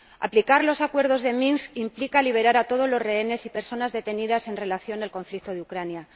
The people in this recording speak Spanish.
Aplicar los Acuerdos de Minsk implica liberar a todos los rehenes y personas detenidas en relación con el conflicto de Ucrania.